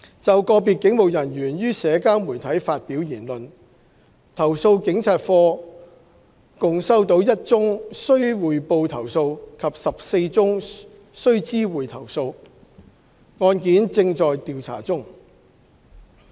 就個別警務人員於社交媒體發表言論，投訴警察課共收到1宗須匯報投訴及14宗須知會投訴，案件正在調查中。